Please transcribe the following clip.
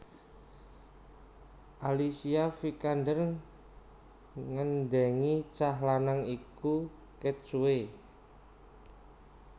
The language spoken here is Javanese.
Alicia Vikander nggendhengi cah lanang iku ket suwe